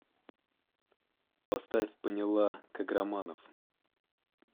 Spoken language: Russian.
поставь поняла каграманов